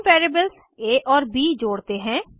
हम वेरिएबल्स आ और ब जोड़ते हैं